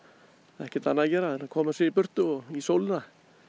ekkert annað að gera en að koma sér í burtu og í sólina